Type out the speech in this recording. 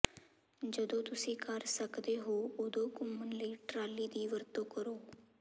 ਜਦੋਂ ਤੁਸੀ ਕਰ ਸਕਦੇ ਹੋ ਉਦੋਂ ਘੁੰਮਣ ਲਈ ਟਰਾਲੀ ਦੀ ਵਰਤੋਂ ਕਰੋ